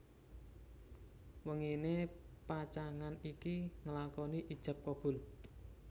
Wenginé pacangan iki nglakoni ijab kabul